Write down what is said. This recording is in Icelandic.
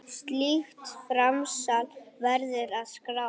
Slíkt framsal verður að skrá.